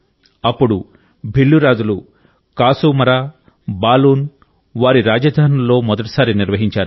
అప్పుడు భిల్లు రాజులు కాసూమరా బాలూన్ వారి రాజధానుల్లో మొదటిసారి నిర్వహించారు